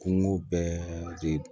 Kungo bɛɛ de